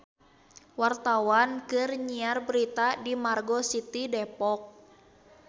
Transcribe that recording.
Wartawan keur nyiar berita di Margo City Depok